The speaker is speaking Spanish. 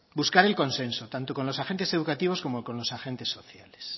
buscar el consenso tanto con los agentes educativos como con los agentes sociales